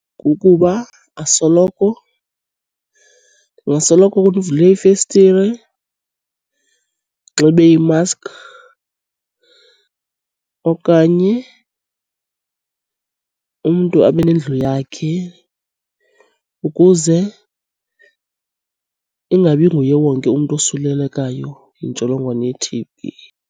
Kukuba asoloko ndingasoloko ndivule ifestire, ndinxibe i-mask. Okanye umntu abe nendlu yakhe ukuze ingabi nguye wonke umntu osulelekayo yintsholongwane ye-T_B.